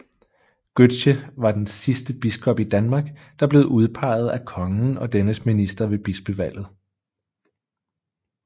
Gøtzsche var den sidste biskop i Danmark der blev udpeget af kongen og dennes minister ved bispevalget